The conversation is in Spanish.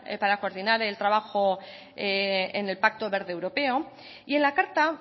para coordinar el trabajo en el pacto verde europeo y en la carta